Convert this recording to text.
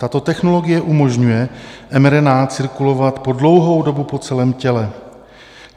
Tato technologie umožňuje mRNA cirkulovat po dlouhou dobu po celém těle.